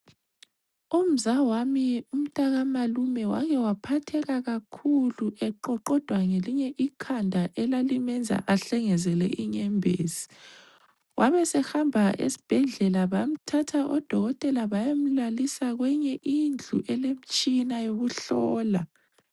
Umzawami umntakamalume wake waphatheka kakhuly eqoqodwa ngelinye ikhanda elalimenza ahlengezele inyembezi. Wabesehamba esibhedlela bamthatha odokotela bayomlalisa kwenye indlu elemtshina yokuhlola.